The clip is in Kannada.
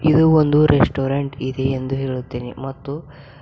ಇದು ಒಂದು ರೆಸ್ಟೊರೆಂಟ ಇದೆ ಎಂದು ಹೇಳುತ್ತೇನೆ ಮತ್ತು--